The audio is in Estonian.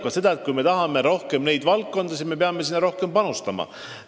Kui me tahame tegeleda rohkemate valdkondadega, siis peame selleks ka rohkem raha eraldama.